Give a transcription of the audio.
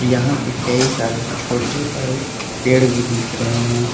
यहां पे कई सारे छोटे बड़े पेड़ भी दिख रहे हैं।